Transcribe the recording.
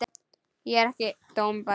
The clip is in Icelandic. Ég er ekki dómbær.